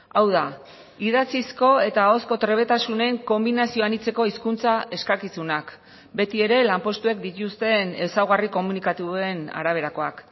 hau da idatzizko eta ahozko trebetasunen konbinazio anitzeko hizkuntza eskakizunak beti ere lanpostuek dituzten ezaugarri komunikatuen araberakoak